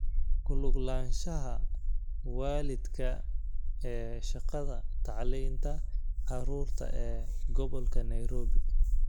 Ku lug lahaanshaha waalidka ee shaqada tacliinta carruurta ee Gobolka Nairobi.